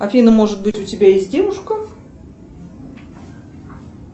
афина может быть у тебя есть девушка